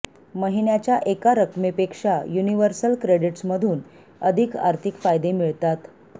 महिन्याच्या एका रकमेपेक्षा युनिव्हर्सल क्रेडीट्समधून अधिक आर्थिक फायदे मिळतात